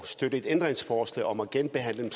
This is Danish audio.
støtte et ændringsforslag om at genbehandle dem